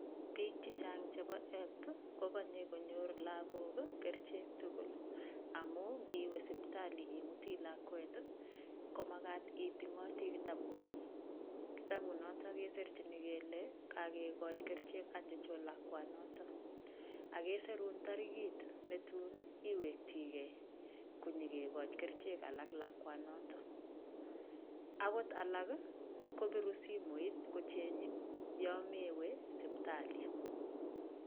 Bik chechang chebo health kokonye konyor lokol kerichek tukul amun ikiwee sipitali imutii lakwet komakat itingotii kitabu nyin, kitabut noton kosirjin kele kakikoji kerichek ochon lakwanoton ak kesirun torikit netun iwekini gee konyokikoji kerichek alal lakwa noton, akot alak kobirun simoit kochengin yon mewee sipitali.